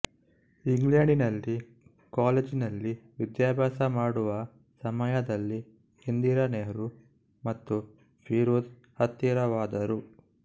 England ನಲ್ಲಿ college ನಲ್ಲಿ ವಿದ್ಯಾಭ್ಯಾಸಮಾಡುವ ಸಮಯದಲ್ಲಿ ಇಂದಿರಾನೆಹೃ ಮತ್ತು ಫಿರೋಝ್ ಹತ್ತಿರವಾದರು